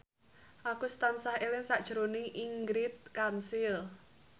Agus tansah eling sakjroning Ingrid Kansil